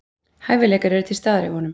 Hæfileikar eru til staðar hjá honum